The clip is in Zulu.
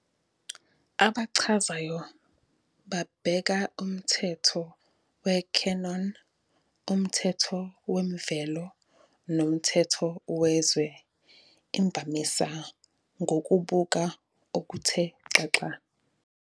Abachazayo babheka umthetho we-canon, umthetho wemvelo, nomthetho wezwe, imvamisa ngokubuka okuthe xaxa.